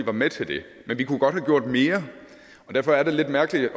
var med til det men vi kunne godt have gjort mere derfor er det lidt mærkeligt at